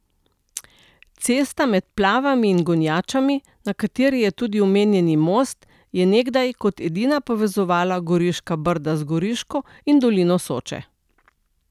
Cesta med Plavami in Gonjačami, na kateri je tudi omenjeni most, je nekdaj kot edina povezovala Goriška Brda z Goriško in dolino Soče.